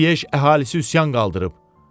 Leş əhalisi üsyan qaldırıb.